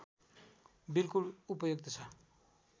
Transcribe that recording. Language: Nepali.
बिल्कुल उपयुक्त छ